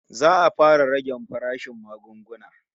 Za'a fara rage farashin magunguna